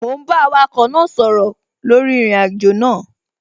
Mò ún bá awakọ̀ náà sọ̀rọ̀ lórí ìrìnàjò náà